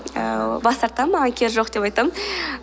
ааа бас тартамын маған керегі жоқ деп айтамын